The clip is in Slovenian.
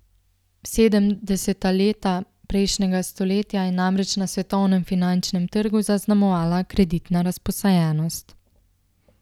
Sedemdeseta leta prejšnjega stoletja je namreč na svetovnem finančnem trgu zaznamovala kreditna razposajenost.